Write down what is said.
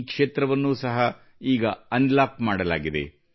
ಈ ಕ್ಷೇತ್ರವನ್ನೂ ಸಹ ಈಗ ಅನ್ಲಾಕ್ ಮಾಡಲಾಗಿದೆ